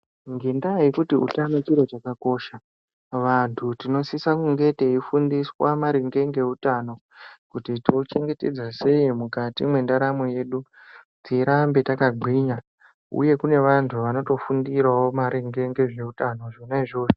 Ngendaa yekuti utano chiro chakakosha, vantu tinosisa kunge teifundiswa maringe ngeutano kuti tochengetedza sei mukati mwendaramo yedu tirambe yakagwinya uye kune vantu vanotofundirawo maringe ngezveutano zvona izvozvo.